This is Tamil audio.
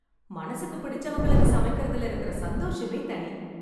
மனசுக்கு பிடிச்சவங்களுக்கு சமைக்கிறது இல்ல இருக்கிற சந்தோஷமே தனி.